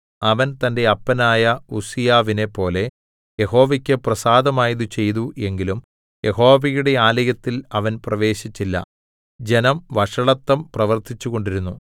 അവൻ തന്റെ അപ്പനായ ഉസ്സീയാവിനെപ്പോലെ യഹോവയ്ക്ക് പ്രസാദമായത് ചെയ്തു എങ്കിലും യഹോവയുടെ ആലയത്തിൽ അവൻ പ്രവേശിച്ചില്ല ജനം വഷളത്തം പ്രവർത്തിച്ചുകൊണ്ടിരുന്നു